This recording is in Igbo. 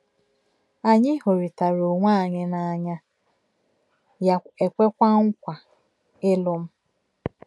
Anyị hụrịtara onwe anyị n’anya, ya ekweekwa nkwa ịlụ m.